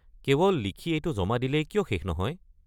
কেৱল লিখি এইটো জমা দিলেই কিয় শেষ নহয়?